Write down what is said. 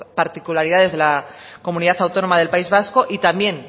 particularidades de la comunidad autónoma del país vasco y también